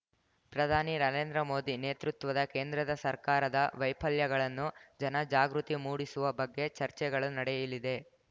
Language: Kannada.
ಪ್ರಧಾನಿ ನರೇಂದ್ರ ಮೋದಿ ನೇತೃತ್ವದ ಕೇಂದ್ರದ ಸರ್ಕಾರದ ವೈಫಲ್ಯಗಳನ್ನು ಜನ ಜಾಗೃತಿ ಮೂಡಿಸುವ ಬಗ್ಗೆ ಚರ್ಚೆಗಳು ನಡೆಯಲಿದೆ